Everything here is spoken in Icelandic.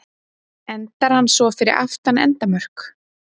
Endar hann svo fyrir aftan endamörk.